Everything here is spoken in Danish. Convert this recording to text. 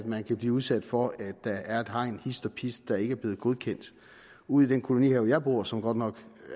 man kan blive udsat for at der er et hegn hist og pist der ikke er blevet godkendt ude i den kolonihave jeg bor i som godt nok